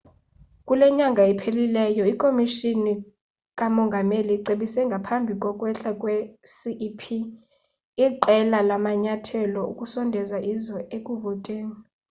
kule nyanga iphelileyo ikomishoni kamongameli icebise ngaphambi kokwehla kwe-cep iqela lamanyathelo okusondeza izwe ekuvoteni